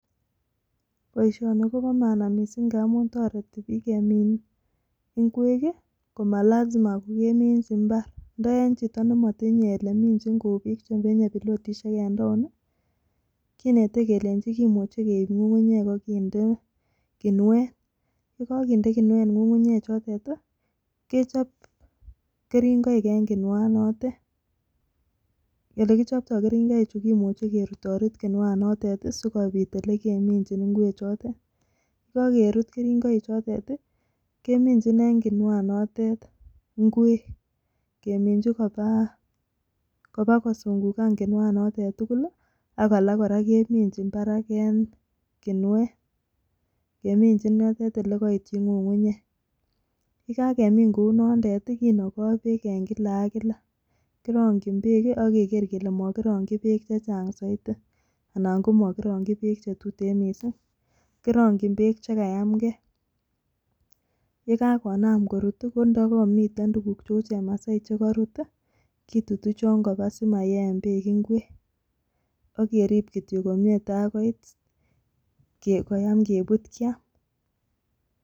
Boishoni Kobo maana missing amun toreti bik kemin ingwek kii komalasima kokeminchi imbar ndio en chito nemotinye olekeminchin kou bik chemenye pilotishek en town nii kinete kelenji kimuche keib ngungunyek akinde kimuet, yekokinde kinuet ngungunyek chotet tii kechob keringoik en kinuanotet. Olekichoptoo keringoik chuu Kimuche kerutorut kinuanotet tii sikopit olekeminchin ingwek chotet. Yekokerut keringoik chotet tii keminchi en kinuanotet ingwek keminchi kobaa koba kosungukan kinuanotet tukul lii ak alak Koraa keminchi barak en kinuet, keminchin yotet olekoityi ngungunyek, yekakemin kounotet tii kinokoo beek en kila ak kila. Kironkin beek kii ak kekere kele mokironki beek che Chang soiti anan mokirongi beek chetuten missing, kirongin beek chekanamgee yekakonam korut tii kondo komuten tukuk cheu chemasai chekorut tii kitutu chon koba simayen beek ingwek akerib kityok komie takoit koyam Kebut kiam.